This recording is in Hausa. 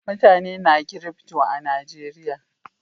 Mutane na kirifto a Najeriya